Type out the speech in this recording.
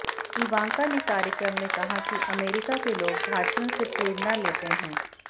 Ivanka ने कार्यक्रम में कहा कि अमेरिका के लोग भारतीयों से प्रेरणा लेते हैं